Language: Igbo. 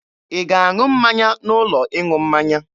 Ị na-aṅụ mmanya n'ụlọ ịṅụ mmanya?